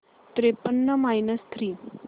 त्रेपन्न minus three